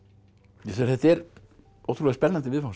þetta er ótrúlega spennandi viðfangsefni